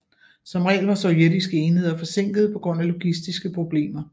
Som regel var sovjetiske enheder forsinkede på grund af logistiske problemer